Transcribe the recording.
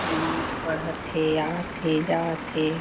नवाज़ पढ़त थे आत थे जात थे।